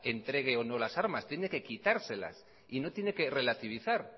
entregue o no las armas tiene que quitárselas y no tiene que relativizar